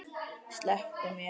Slepptu mér!